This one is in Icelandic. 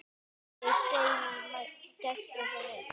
Mig geym í gæslu þinni.